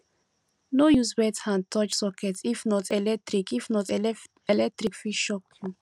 no use wet hand touch socket if not electric if not electric fit shock you